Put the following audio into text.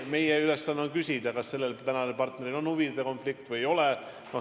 Meie ülesanne on küsida, kas sellel tänasel partneril on huvide konflikt või ei ole.